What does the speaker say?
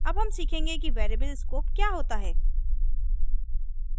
अब हम सीखेंगे कि वेरिएबल स्कोप क्या होता है